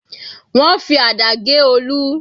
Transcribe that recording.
Wọ́n fi àdá gé Olu.